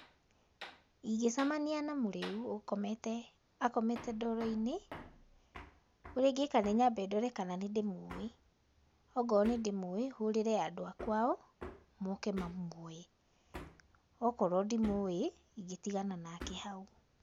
Ingĩcemania na mũrĩu ũkomete, akomete ndoro-inĩ, ũrĩa ingĩka nĩ nyambe ndore kana nĩ ndĩmũĩ, okorwo nĩ ndĩmũĩ hũrĩre andũ a kwao moke mamwoe, okorwo ndĩmũĩ ingĩtigana nake hau.